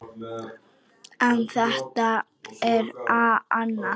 En það er annað.